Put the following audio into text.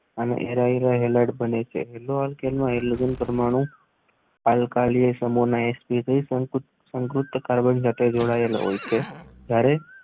પરમાણુ આલ્કાઇન સમાન ના એસટીવ અંગૃપ્ત કાર્ય માટે જોડાયેલા હોય છે.